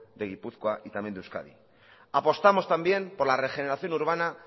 de gipuzkoa y también de euskadi apostamos también por la regeneración urbana